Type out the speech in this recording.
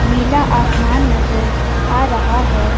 नीला आसमान नजर आ रहा है।